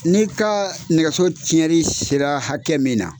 N'i ka nɛgɛso tiyɛnri sera hakɛ min na.